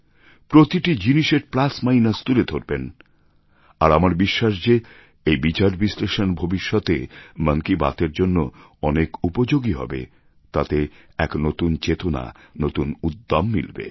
প্রতিটি জিনিসের plus minus তুলে ধরবেন আর আমার বিশ্বাস যে এই বিচার বিশ্লেষণ ভবিষ্যতে মন কি বাত এর জন্য অনেক উপযোগী হবে তাতে এক নতুন চেতনা নতুন উদ্যম মিলবে